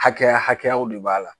Hakɛya hakɛyaw de b'a la